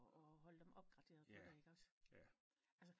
Og holde dem op opgraderet på det ikke også